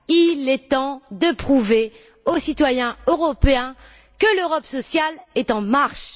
Il est temps de prouver aux citoyens européens que l'Europe sociale est en marche.